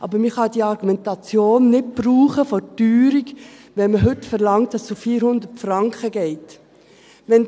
Aber man kann die Argumentation der Teuerung nicht brauchen, wenn man heute verlangt, dass es auf 400 Franken gehen soll.